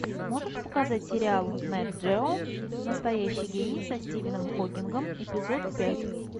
можешь показать сериал нэт джео настоящий гений со стивеном хокингом эпизод пять